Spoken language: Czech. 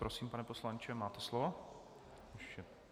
Prosím, pane poslanče, máte slovo.